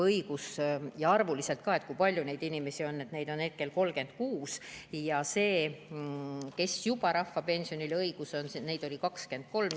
Ütlen arvuliselt ka, kui palju neid inimesi on: neid on hetkel 36 ja neid, kellel juba on õigus rahvapensionile, oli 23.